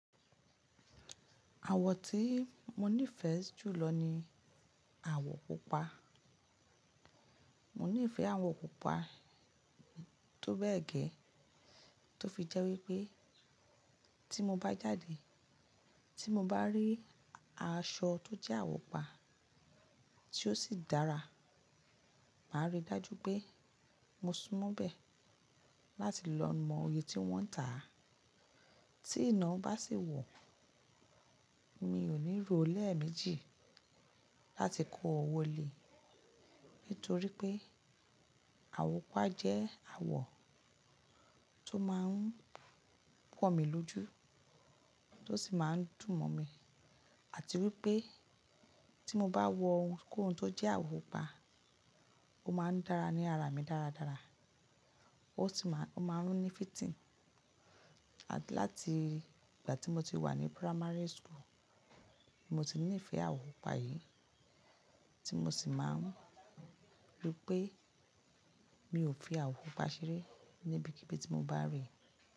Àwọ̀ tí mo nífẹ̀ẹ́ jù lọ ni àwọ̀ pupa. Mo nífẹ̀ẹ́ àwọ̀ pupa tó bẹ́ẹ̀ gẹ́ tó fi jẹ́ wípé tí mo bá jáde, tí mo bá rí aṣọ tó jẹ́ àwọ̀ pupa tí ó sì dára, màá rí i dájú pé mo sunmọ́ bẹ̀ láti lọ mọ iyè tí wọ́n ń tà á. Tí iná bá sì wọ̀, mi ò ní ro lè méjì láti kó o wọlé torí pé àwọ̀ pupa jẹ́ àwọ̀ tó máa ń pọ̀ mí lójú, tó sì máa ń dùn mọ́ mi. Àti wípé tí mo bá wọ ohun kohun tó jẹ́ àwọ̀ pupa, ó máa ń dára ní ara mi dáradára, ó sì máa ń ní fitting. Láti ìgbà tí mo ti wà ní primary school, mo ti níìfẹ̀ẹ́ àwọ̀ pupa yìí tí mo sì máa ń rí pé mi ò fi àwọ̀ pupa ṣeré níbi kibii tí mo bá rí i.